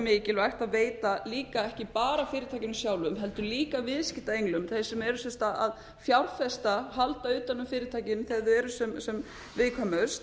mikilvægt að veita líka ekki bara fyrirtækjunum sjálfum heldur líka viðskiptaenglum þeim sem eru sem sagt að fjárfesta halda utan um fyrirtækin þegar þau eru sem viðkvæmust